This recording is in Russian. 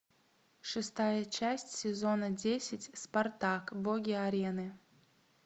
шестая часть сезона десять спартак боги арены